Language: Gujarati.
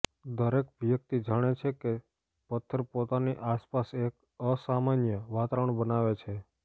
દરેક વ્યક્તિ જાણે છે કે પથ્થર પોતાની આસપાસ એક અસામાન્ય વાતાવરણ બનાવે છે